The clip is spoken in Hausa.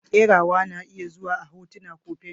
Kerawa na iya zuwa a hotuna ko fenti.